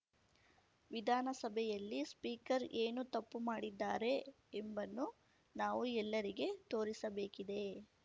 ವಿಧಾನಸಭೆಯಲ್ಲಿ ಸ್ಪೀಕರ್ ಏನು ತಪ್ಪು ಮಾಡಿದ್ದಾರೆ ಎಂಬನ್ನು ನಾವು ಎಲ್ಲರಿಗೆ ತೋರಿಸಬೇಕಿದೆ